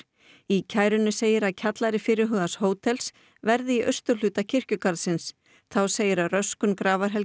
í kærunni segir að kjallari fyrirhugaðs hótels verði í austurhluta kirkjugarðsins þá segir að röskun